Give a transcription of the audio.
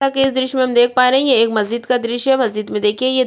जैसा की इस दृश्य मे हम देख पा रहै है ये एक मस्जिद का दृश्य मस्जिद मे देखिए ये दु--